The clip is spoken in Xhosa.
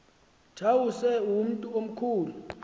tawuse umntu omkhulu